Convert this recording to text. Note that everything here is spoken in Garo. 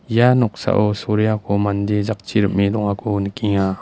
ia noksao soreako mande jakchi rim·e dongako nikenga.